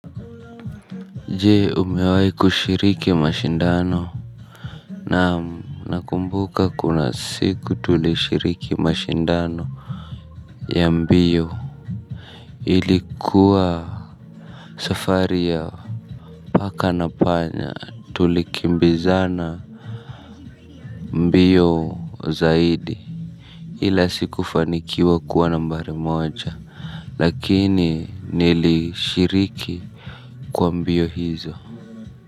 Jee umewai kushiriki mashindano naamu nakumbuka kuna siku tulishiriki mashindano ya mbiyo ilikuwa safari yao paka na panya tulikimbizana mbiyo zaidi ila siku fanikiwa kuwa nambari moja lakini nilishiriki kuambiyo hizo.